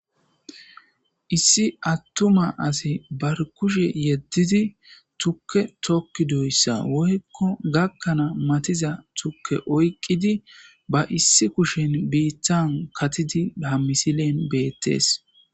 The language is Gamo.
issi attuma asi bar kushe yeddidi tukke tokki doyssa woykko gakkanaa matiza tukke oyqqidi ba issi kushen biittan katidi ha misilen beettes